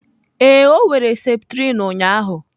Ee, ọ were septrin ụnyaahụ.